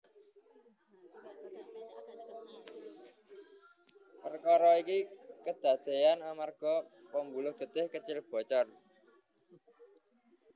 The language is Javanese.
Perkara iki kedadean amarga pembuluh getih kecil bocor